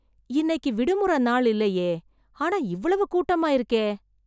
இன்னைக்கு விடுமுறை நாள் இல்லையே. ஆனா இவ்வளவு கூட்டமா இருக்கே.